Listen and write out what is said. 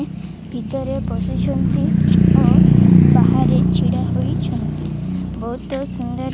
ଭିତରେ ବସିଛନ୍ତି ଓ ବାହାରେ ଛିଡ଼ା ହୋଇଛନ୍ତି। ବୋହୁତ ସୁନ୍ଦର୍ --